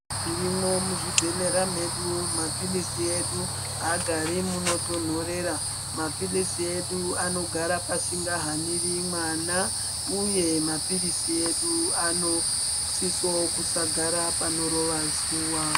Zvirimwo muzvibhehleya mwedu mapilizi edu agari munotonhorera ,mapilizi edu anogara pasinga haniri mwana uye mapilizi edu anosiso kusagara panorova zuwa.